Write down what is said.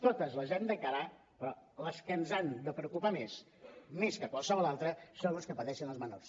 totes les hem d’encarar però les que ens han de preocupar més més que qualsevol altra són les que pateixen els menors